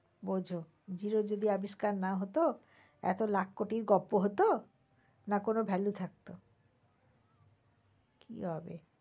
বুঝ zero যদি আবিষ্কার না হত এত লাখ কোটির গপ্প হত? না কোন value থাকত? কি হবে?